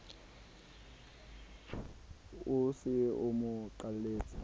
o se a mo qalletse